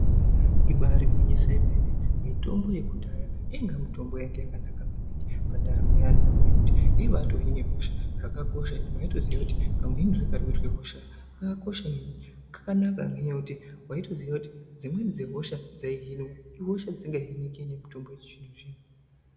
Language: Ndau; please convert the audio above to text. Ibari gwinyiso remene mitombo yekudhaya yainge mitombo yanga yakanaka maningi Pandaramo yemuntu ngekuti yaiba Hina hosha ngekuti waitozouva kuti dzimweni dzehosha dzaihinika.